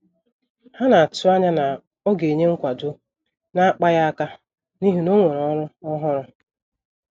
Ha na-atụanya na ọ ga-enye nkwado na-akpaghị aka n'ihi na onwere ọrụ ọhụrụ.